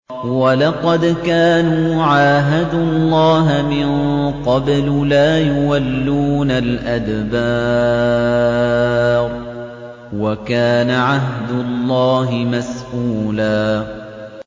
وَلَقَدْ كَانُوا عَاهَدُوا اللَّهَ مِن قَبْلُ لَا يُوَلُّونَ الْأَدْبَارَ ۚ وَكَانَ عَهْدُ اللَّهِ مَسْئُولًا